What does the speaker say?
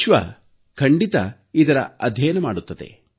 ವಿಶ್ವ ಖಂಡಿತ ಇದರ ಅಧ್ಯಯನ ಮಾಡುತ್ತದೆ